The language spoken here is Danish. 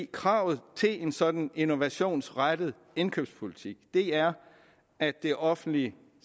kravet til en sådan innovationsrettet indkøbspolitik er at det offentlige